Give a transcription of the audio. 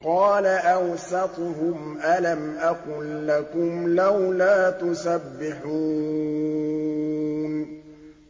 قَالَ أَوْسَطُهُمْ أَلَمْ أَقُل لَّكُمْ لَوْلَا تُسَبِّحُونَ